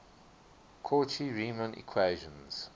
cauchy riemann equations